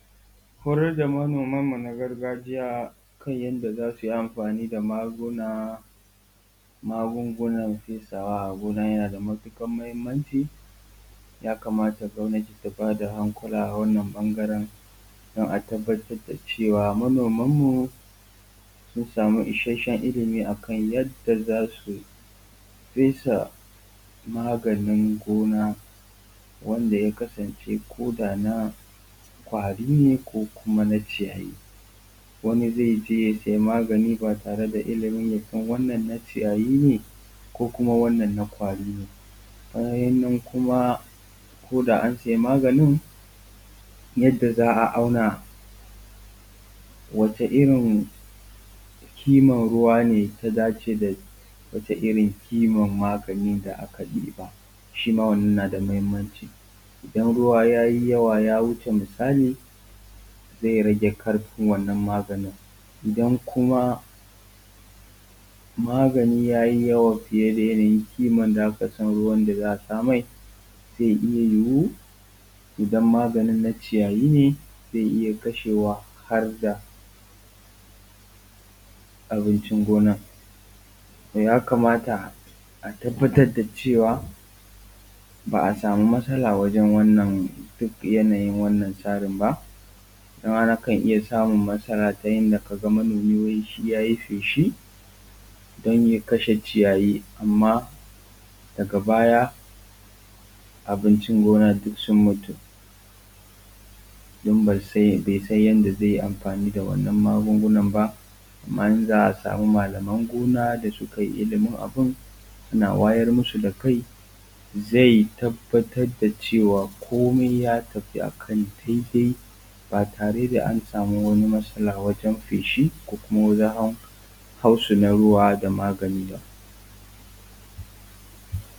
Horadda manomanmu na gargajiya kan yanda za su yi amfani da magungunan fesawa a gona yana da matuƙar muhimmanci. Ya kamata gwamnati ta ba da hankula a wannan ɓangaran don a tabbatar da cewa manomanmu sun samu ishashshen ilimi a kan yanda za su fesa maganin gona wanda ya kasance koda na ƙwari ne ko kuma na ciyayi. Wani zai je ya sai maganin ba tare da ilimin ya san wannan na ciyayi ne ko kuma wannan na ƙwari ne. Bayan nan kuma koda an sai maganin yanda za a auna wace irin kiman ruwa ne ta dace da wace irin kiman maganin da aka ɗiba, shi ma wannan yana da muhimmanci idan ruwa yayi yawa ya wuce misali zai rage ƙarfin wannan maganin, idan kuma maganin yayi yawa fiye da yanayin kiman da aka sa ruwa da za a sa mai zai iya yiwu idan maganin na ciyayi ne zai iya kashe wa harda abincin gona. To ya kamata a tabbatar da cewa ba a samu matsala wajan wannan yanayin wannan tsarin ba. Nima nakan iya samu masala ta inda ka ga manomi wai shi ya yi feshi don ya kashe ciyayi amma daga baya abincin gona duk su mutu don bai san yanda zai amfani da wannan magungunan ba. Amma in za a samu malaman gona da su kai ilimin abun suna wayar masu da kai zai tabatar da cewa komai ya tafi akan dai dai ba tare da an samu wani matsala wajan feshi ko kuma wajan hautsana ruwa da magani ba.